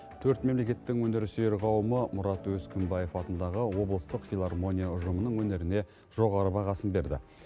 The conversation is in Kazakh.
төрт мемлекеттің өнер сүйер қауымы мұрат өскімбаев атындағы облыстық филармония ұжымының өнеріне жоғары бағасын берді